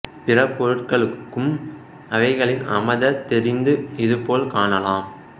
பிற பொருட்களுக்கும் அவைகளின் அ ம த தெரிந்து இது போல் காணலாம்